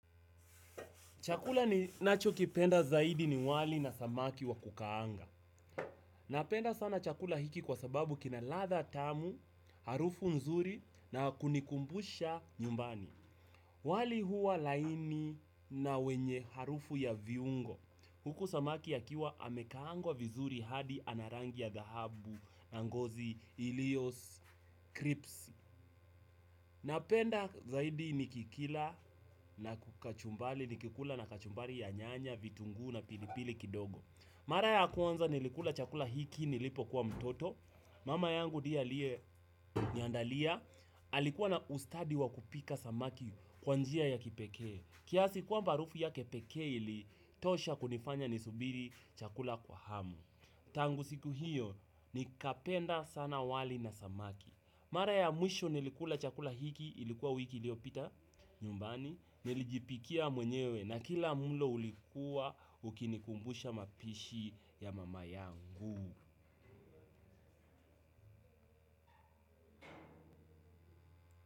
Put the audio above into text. Chakula ninacho kipenda zaidi ni wali na samaki wa kukaanga. Napenda sana chakula hiki kwa sababu kina ladha tamu, harufu nzuri na kunikumbusha nyumbani. Wali huwa laini na wenye harufu ya viungo. Huku samaki yakiwa amekaangwa vizuri hadi ana rangi ya dhahabu na ngozi ilio, kripsi. Napenda zaidi nikikila na kukachumbali nikikula na kachumbali ya nyanya, vitungu na pilipili kidogo. Mara ya nilikula chakula hiki nilipo kuwa mtoto. Mama yangu ndiya aliye niandalia. Alikuwa na ustadi wa kupika samaki kwa njia ya kipekee. Kiasi kuwa harufu ya kepeke ili tosha kunifanya nisubiri chakula kwa hamu. Tangu siku hiyo nikapenda sana wali na samaki. Mara ya mwisho nilikula chakula hiki ilikuwa wiki ilio pita nyumbani nilijipikia mwenyewe na kila mlo ulikuwa ukinikumbusha mapishi ya mama yangu.